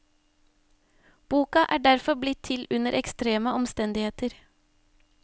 Boka er derfor blitt til under ekstreme omstendigheter.